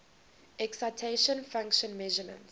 excitation function measurements